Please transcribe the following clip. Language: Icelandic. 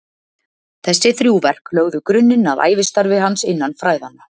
þessi þrjú verk lögðu grunninn að ævistarfi hans innan fræðanna